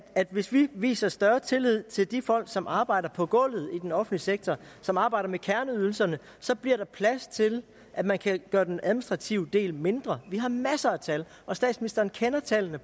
hvis vi viser større tillid til de folk som arbejder på gulvet i den offentlige sektor som arbejder med kerneydelserne så bliver der plads til at man kan gøre den administrative del mindre vi har masser af tal og statsministeren kender tallene